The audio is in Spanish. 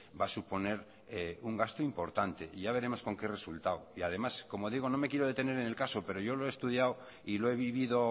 va a suponer un gasto importante y ya veremos con qué resultado y además como digo no me quiero detener en el caso pero yo lo he estudiado y lo he vivido